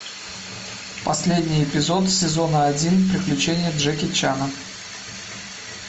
последний эпизод сезона один приключения джеки чана